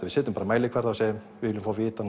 við setjum bara mælikvarða og segjum við viljum fá að vita